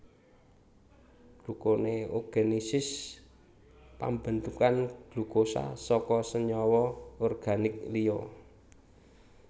Glukoneogenesis pambentukan glukosa saka senyawa organik liya